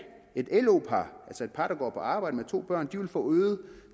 et lo par altså et par der går på arbejde med to børn vil få øget